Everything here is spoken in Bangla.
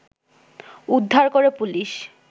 উদ্ধার করে পুলিশ